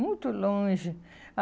Muito longe.